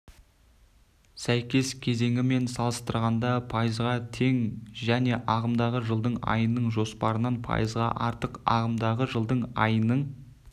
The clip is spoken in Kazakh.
сәйкес кезеңімен салыстырғанда пайызға тең және ағымдағы жылдың айының жоспарынан пайызға артық ағымдағы жылдың айының